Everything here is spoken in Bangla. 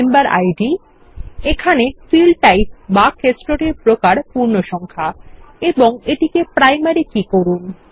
মেম্বার ইদ এখানে ফিল্ডটাইপ বা ক্ষেত্রটির প্রকার পূর্ণসংখ্যা এবং এটিকে প্রাইমারী কী করুন